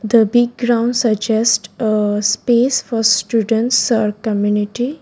the big ground suggest a space for students or community.